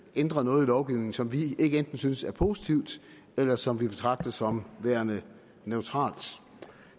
ændret noget i lovgivningen som vi ikke enten synes er positivt eller som vi betragter som værende neutralt